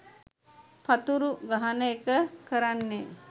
පතුරු ගහන එක කරන්නෙ.